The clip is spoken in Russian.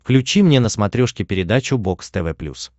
включи мне на смотрешке передачу бокс тв плюс